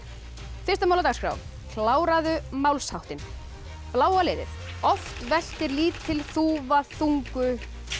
fyrsta mál á dagskrá kláraðu málsháttinn bláa liðið oft veltir lítil þúfa þungu